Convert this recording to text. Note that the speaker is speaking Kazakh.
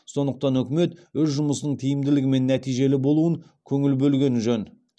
сондықтан үкімет өз жұмысының тиімділігі мен нәтижелі болуын көңіл бөлгені жөн